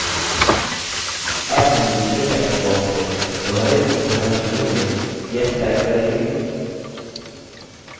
double हम दूसरे text box में दोहरेउद्धरण चिह्नों में yes type करेंगे